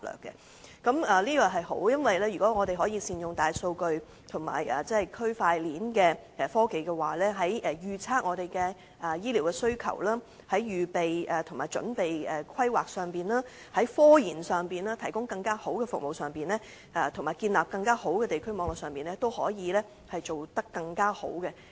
這是好事，因為如果我們可以善用大數據和區塊鏈的科技，在預測香港的醫療需求上、籌備規劃上、科研上、提供更好的服務上，以及建立更完善的地區網絡上，均可以做得更好。